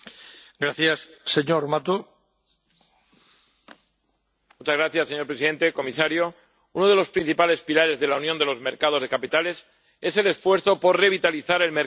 Señor presidente, señor comisario, uno de los principales pilares de la unión de los mercados de capitales es el esfuerzo por revitalizar el mercado de la titulización con el fin de mejorar la financiación de nuestra economía.